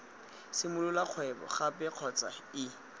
simolola kgwebo gape kgotsa ii